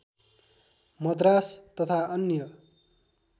मद्रास तथा अन्य